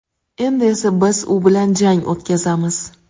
Endi esa biz u bilan jang o‘tkazamiz.